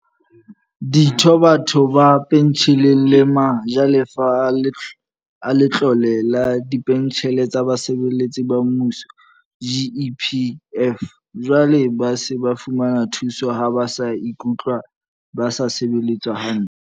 Ditho, batho ba pentjheleng le ma jalefa a Letlole la Dipentjhele tsa Basebetsi ba Mmuso, GEPF, jwale ba se ba fumana thuso ha ba ikutlwa ba sa sebeletswa hantle.